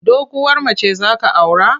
Doguwar mace za ka aura?